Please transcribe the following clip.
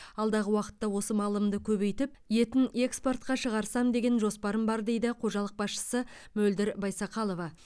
алдағы уақытта осы малымды көбейтіп етін экспортқа шағырсам деген жоспарым бар дейді қожалық басшысы мөлдір байсақалова